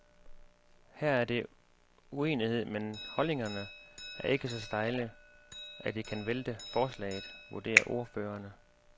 Her er der uenighed, men holdningerne er ikke så stejle, at det kan vælte forslaget, vurderer ordførerne.